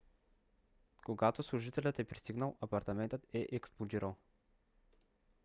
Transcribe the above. когато служителят е пристигнал апартаментът е експлодирал